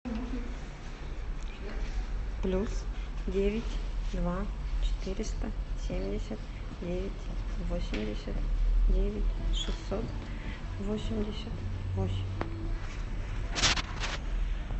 плюс девять два четыреста семьдесят девять восемьдесят девять шестьсот восемьдесят восемь